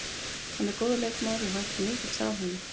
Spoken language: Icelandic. Hann er góður leikmaður og við væntum mikils af honum.